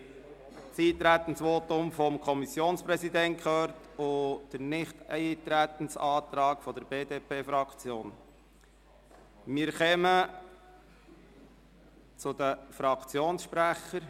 Wir haben das Eintretensvotum des Kommissionspräsidenten und den Antrag der BDP-Fraktion auf Nichteintreten gehört.